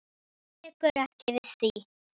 Hún tekur ekki við því.